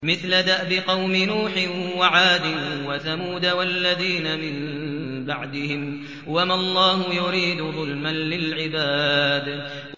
مِثْلَ دَأْبِ قَوْمِ نُوحٍ وَعَادٍ وَثَمُودَ وَالَّذِينَ مِن بَعْدِهِمْ ۚ وَمَا اللَّهُ يُرِيدُ ظُلْمًا لِّلْعِبَادِ